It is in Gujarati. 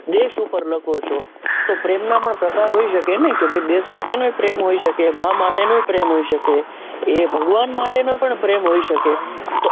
દેશ ઉપર લાખો છો તો પ્રેમ નાં પણ પ્રકાર હોય સકે ને કે ભાઈ દેશ માટે નો ય પ્રેમ હોઈ સકે માં માટે નોય પ્રેમ હોઈ સકે ભગવાન માટે નો પણ પ્રેમ હોઇ સકે.